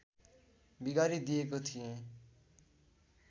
बिगारी दिएको थिएँ